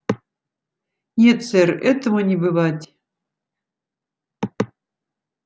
нет сэр этого не бывать